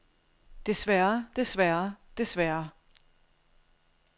desværre desværre desværre